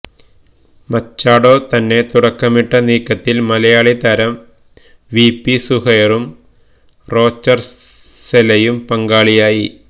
മച്ചാഡോ തന്നെ തുടക്കമിട്ട നീക്കത്തില് മലയാളി താരം വി പി സുഹൈറും റോച്ചര്സെലയും പങ്കാളിയായി